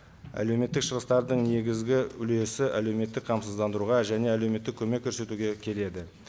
әлеуметтік шығыстардың негізгі үлесі әлеуметтік қамсыздандыруға және әлеуметтік көмек көрсетуге келеді